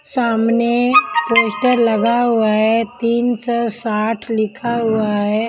सामने पोस्टर लगा हुआ है तीन सौ साठ लिखा हुआ है.